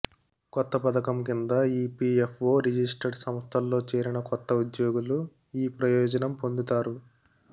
కొత్త పథకం కింద ఇపిఎఫ్ఒ రిజిస్టర్డ్ సంస్థల్లో చేరిన కొత్త ఉద్యోగులు ఈ ప్రయోజనం పొందుతారు